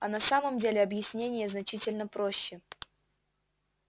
а на самом деле объяснение значительно проще